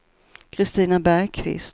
Kristina Bergkvist